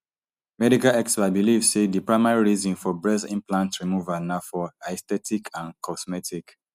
medical experts believe say di primary reason for breast implant removals na for aesthetic and cosmetic